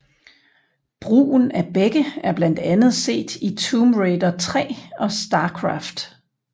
Brugen af begge er blandt andet set i Tomb Raider III og StarCraft